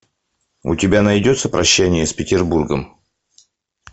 у тебя найдется прощание с петербургом